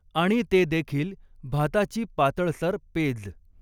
आणि ते देखील भाताची पातळसर पेज